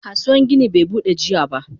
Kasuwan gini be Bude jiya ba.